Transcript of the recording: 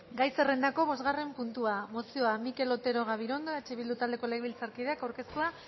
gai zerrendako bosgarren puntua mozioa mikel otero gabirondo eh bildu taldeko legebiltzarkideak aurkeztua